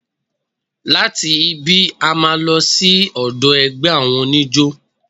Láti ibí, a máa lọ sí ọ̀dọ̀ ẹgbẹ́ àwọn oníjó.